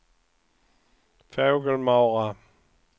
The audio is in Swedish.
Fågelmara